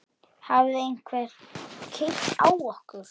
Hafði einhver keyrt á okkur?